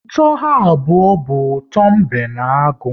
Ụtọ ha abụọ bụ ụtọ mbe na agụ